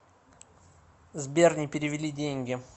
сбер не перевели деньги